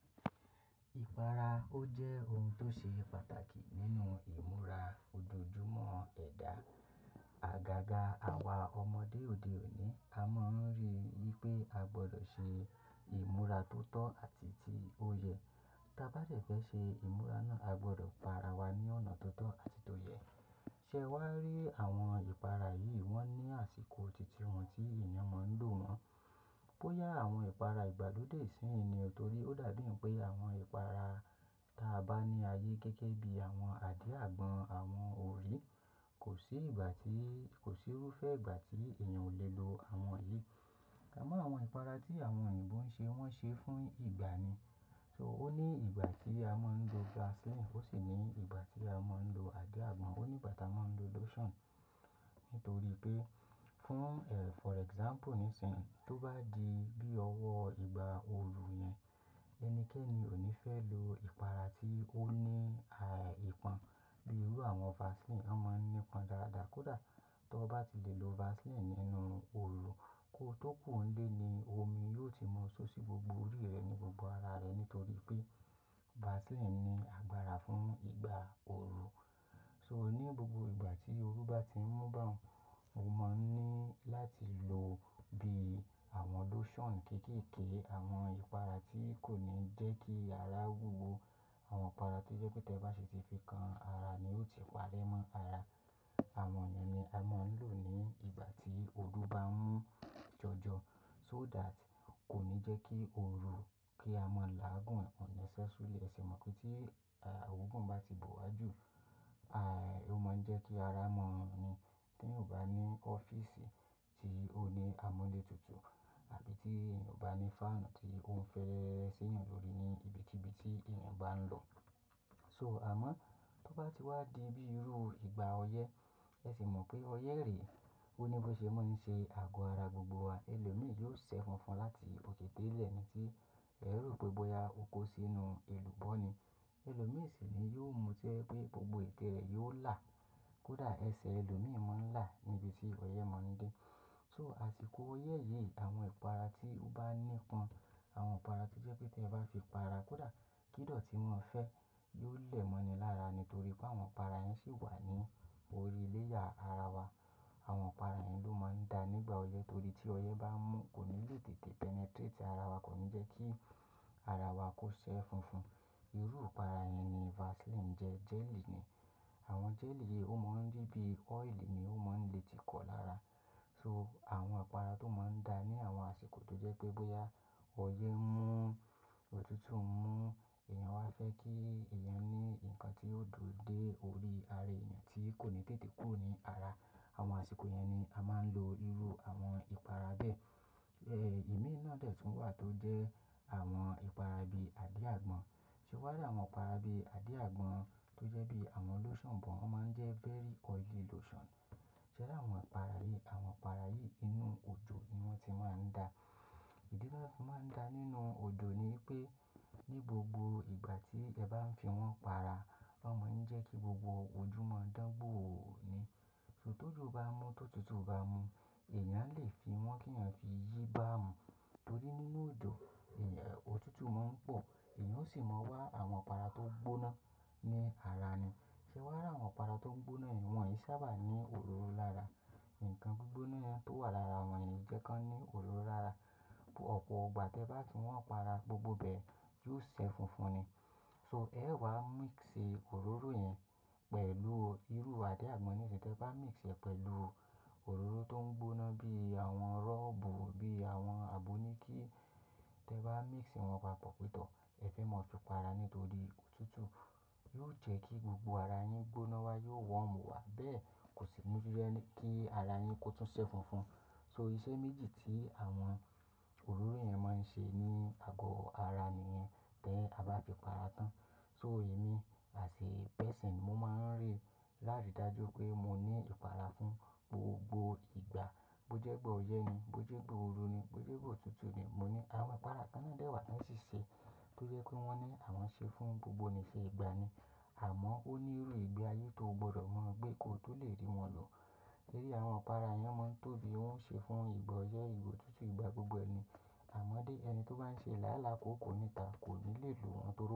Ìpara jẹ́ ohun tó ṣe pàtàkì nínú ìmúra ojoojúmọ́ ẹ̀dá. Àgàgà àwa ọmọdé òde òní a máa ń rí i pé a gbọdọ̀ ṣe ìmúra tó tọ́ àti tí ó yẹ. Tí a bá dẹ̀ fẹ́ ṣe ìmúra náà, a gbọdọ̀ para wa ní ọ̀nà tó tọ́ àti tó yẹ. Ṣé e wà á rí àwọn ìpara yìí, wọ́n ní àsìkò titi wọn tí èèyàn máa ń lò wọ́n. Bóyá àwọn ìpara ìgbàlódé isin yìí ni o torí ó dàbí n pé àwọn ìpara ta bá ní ayé gẹ́gẹ́ bí àwọn àdí àgbọn, àwọn orí kò sí ìgbà tí, kò sí irúfẹ́ ìgbà tí ènìyàn ò lè lo àwọn yìí. Àmọ́ àwọn ìpara tí àwọn òyìnbó ń ṣe wọ́n ṣe fún ìgbà ni. So ó ní ìgbà tí a máa ń lo Vaseline, ó sì ní ìgbà tí a máa ń lo àdí àgbọn, ó ní ìgbà tí a máa ń lo lotion. Nítorí pé fún, eh, for example nísìnyí, tó bá di bí ọwọ́ ìgbà ooru yẹn, ẹnikẹ́ni ò ní fẹ́ lo ìpara tí ó ní, àì, ìpọn bí irú àwọn Vaseline. Wọ́n máa ń ní ìpọn dáadáa. Kódà tó bá ti lè lo Vaseline nínú ooru kó tó kúnlé ni omi yóò ti mọ́ ṣó ṣí gbogbo orí rẹ ní gbogbo ara rẹ nítorí pé Vaseline ní agbára fún ìgbà ooru. So ní gbogbo ìgbà tí ooru bá ti ń mú bá ọ, o máa ń ní láti lò bí àwọn lotion kéékèèké, àwọn ìpara tí kò ní jẹ́ kí ara wúwo, àwọn ìpara tó jẹ́ pé tí ẹ bá ṣe ti fi kan ara ni ó ti wálé mọ́ ara. Àwọn èèyàn ni a máa ń lò ní ìgbà tí ooru bá ń mu jọjọ so that kò ní jẹ́ kí ooru kí a máa là á gbọ̀n unnecessarily. Ẹ sì mọ̀ pé tí, àì, oogun bá ti bò wájú, àì, ó máa ń jẹ́ kí ara mọ́ hun ni. Tèèyàn ò bá ní ọ́fíísì tí ó ní amúlétutù àbí tí èèyàn ò bá ní fáànù tí ó ń fẹ́ ṣéyàn lórí ní ibikíbi tí èèyàn bá ń lọ. So àmọ́ tó bá ti wá di bí irú ìgbà ọyẹ́, ẹ sì mọ̀ pé ọyẹ́ rè, ó ní bó ṣe máa ń ṣe àgọ́ ara gbogbo wa. Ẹlòmíì yóò sẹ́ funfun láti òkè dé ilẹ̀ ni tí ẹ rò pé bóyá o kó sínú èlùbọ́ ni. Ẹlòmíì sì ni yóò mú tẹ́ ẹ pé gbogbo ètè rẹ̀ yóò là. Kódà ẹsẹ̀ ẹlòmíì máa ń là níbi tí ọyẹ́ máa ń dé. So àsìkò ọyẹ́ yìí àwọn ìpara tí ó bá ní ìpọn, àwọn ìpara tí jẹ́ pé tí ẹ bá fi para, kódà kídọ̀ tí wọ́n fẹ́ yóò lẹ̀ mọ́ ni lára nítorí pé àwọn ìpara yẹn sì wà ní orí layer ara wa. Àwọn ìpara yẹn ló máa ń da nígbà ọyẹ́ torí tí ọyẹ́ bá mú kò ní lè tètè penetrate ara wa, kò ní jẹ́ kí ara wa kó ṣẹ́ funfun. Irú ìpara yẹn ni Vaseline jẹ́, jelly ni. Àwọn jelly yìí ó máa ń rí bí oil ni ó máa ń le ti kọ lára. So àwọn ìpara tó máa ń da ní àwọn àsìkò tó jẹ́ pé bóyá ọyẹ́ ń mú, òtútù ń mú, èèyàn wá fẹ́ kí èèyàn ní nǹkan tí yóò dùn dé orí ara èèyàn tí kò ní tètè kúrò ní ara. Àwọn àsìkò yẹn ni a máa ń lo irú àwọn ìpara bẹ́ẹ̀. Eh, ìmíì nà dẹ̀ tún wà tó jẹ́ àwọn ìpara bíi àdí àgbọn. Ṣé wà á rí àwọn ìpara bíi àdí àgbọn tó jẹ́ bí àwọn lotion bọ̀, wọ́n máa ń jẹ́ very oily lotion. Ṣé wà á rí àwọn ìpara yìí? Àwọn ìpara yìí inú òjò ni wọ́n ti máa ń da. Ìdí tí wọ́n ti máa ń da nínú òjò ni pé ní gbogbo ìgbà tí ẹ bá ń fi wọ́n para, wọ́n máa ń jẹ́ kí gbogbo ojú máa dán gbòò ni. So tó jù bá mú, tó tutù bá mú, èèyàn lè fi wọ́n kí èèyàn fi yí bá ọ̀. Nítorí nínú òjò, èè, òtútù máa ń pọ̀, èèyàn ó sì máa wá àwọn ìpara tó gbóná ní ara ni. Ṣé wà á rí àwọn ìpara tó ń gbóná yìí, wọn yìí sábà ní òróró lára. Ǹkan gbígbóná tó wà lára wọn yẹn o jẹ́ kí wọ́n ní òróró lára. But ọ̀pọ̀ ìgbà tí ẹ bá ti wọ́n para gbogbo ibẹ́ẹ̀ yóò ṣẹ́ funfun ni. So ẹ wàá mix òróró yẹn pẹ̀lú irú àdí àgbọn yìí. Tí ẹ bá mix ẹ pẹ̀lú òróró tó ń gbóná bí àwọn rọ́ọ̀bù, bí àwọn àbò ni kí ẹ bá mix wọn papọ̀ pétọ̀, ẹ fẹ́ máa fi para nítorí òtútù yóò jẹ́ kí gbogbo ara yín gbóná wá, yóò warm wá. Bẹ́ẹ̀ kò sì ní jẹ́ kí ara yín kó tún ṣẹ́ funfun. So iṣẹ́ méjì tí àwọn òróró yẹn máa ń ṣe ní àgọ́ ara ènìyàn then a bá fi para tán. So èmi as a person, mo máa ń rí lári dájú pé mo ní ìpara fún gbogbo ìgbà. Bó jẹ́ ìgbà ọyẹ́ ni, bó jẹ́ ìgbà oru ni, bó jẹ́ ìgbà òtútù ni, mo ní àwọn ìpara kan náà dẹ̀ wà tan ṣí ṣe tó jẹ́ pé wọ́n ní àwọn ṣe fún gbogbo nìṣe ìgbà ni. Àmọ́ óní irú ìgbé ayé tó o gbọdọ̀ mọ̀ gbé kó tó lè rí wọn lọ. Rí i àwọn ìpara yẹn máa ń tóbi, wọ́n ń ṣe fún ìgbọ́ ọyẹ́, ìgbò òtútù, ìgbà gbogbo ẹni. Àmọ́ dé ẹni tó bá ń ṣe láálàá kò níta, kò ní lè lo wọn tóbi.